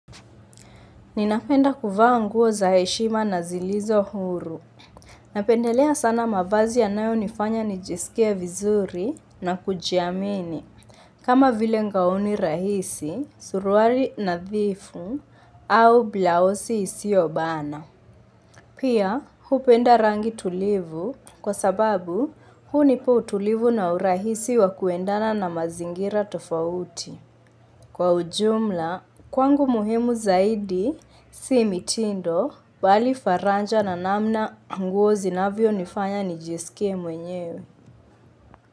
Ninapenda kufua nguo za heshima na zilizo huru. Napendelea sana mavazi yanayo nifanya nijisikie vizuri na kujiamini. Kama vile ngaoni rahisi, suruali nadhifu au blausi isiobana. Pia, hupenda rangi tulivu kwa sababu hunipa utulivu na urahisi wa kuendana na mazingira tofauti. Kwa ujumla, kwangu muhemu zaidi, si mitindo, bali faraja na namna nguo zinavyo nifanya nijisikie mwenyewe.